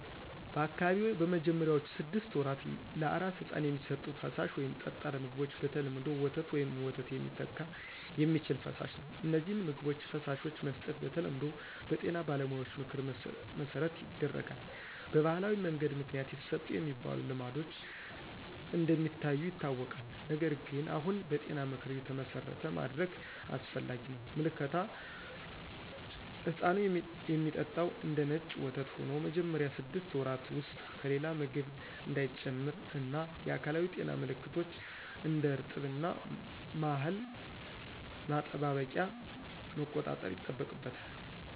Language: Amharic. በአካባቢዎ በመጀመሪያዎቹ ስድስት ወራት ለአራስ ሕፃን የሚሰጡት ፈሳሽ ወይም ጠጣር ምግቦች በተለምዶ ወተት ወይም ወተት ሚተካ የሚችል ፈሳሽ ነው። እነዚህን ምግቦች/ፈሳሾች መስጠት በተለምዶ በጤና ባለሙያዎች ምክር መሠረት ይደረጋል። በባህላዊ መንገድ ምክንያት ይሰጡ የሚባሉ ልማዶች እንደ ሚታዩ ይታወቃል፣ ነገር ግን አሁን በጤና ምክር የተመሠረተ ማድረግ አስፈላጊ ነው። ምልከታ ሕፃኑ የሚጠጣው እንደነጭ ወተት ሆኖ መጀመሪያ ስድስት ወራት ውስጥ ከሌላ ምግብ እንዳይጨምር እና የአካላዊ ጤና ምልከቶች (እንደ እርጥብ እና ማህል ማጠባበቂያ) መቆጣጠር ይጠበቃል።